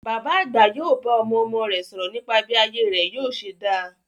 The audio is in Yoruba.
Bàbá àgbà yóò bá ọmọọmọ rẹ̀ sọ̀rọ̀ nípa bí ayé rẹ̀ yóò ṣe dá.